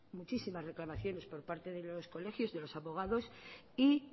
muchísimas reclamaciones por parte de los colegios de los abogados y